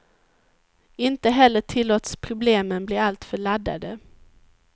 Inte heller tillåts problemen bli alltför laddade.